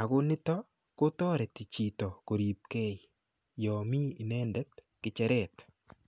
akonitok kotoreti chito koripkee yomi inendet kecheret